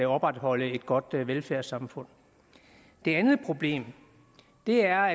opretholde et godt velfærdssamfund det andet problem er